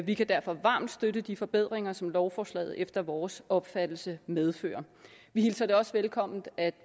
vi kan derfor varmt støtte de forbedringer som lovforslaget efter vores opfattelse medfører vi hilser også velkommen at